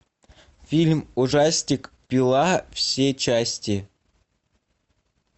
фильм ужастик пила все части